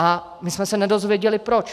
A my jsme se nedozvěděli proč.